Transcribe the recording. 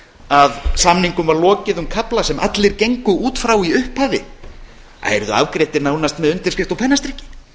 að samningum var lokið um kafla sem allir gengu út frá í upphafi að yrðu afgreiddir nánast með undirskrift og pennastriki